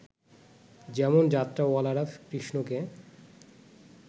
যেমন যাত্রাওয়ালারা কৃষ্ণকে